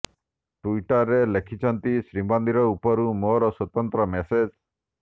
ଟ୍ୱିଟରେ ସେ ଲେଖିଛନ୍ତି ଶ୍ରୀମନ୍ଦିର ଉପରୁ ମୋର ସ୍ୱତନ୍ତ୍ର ମେସେଜ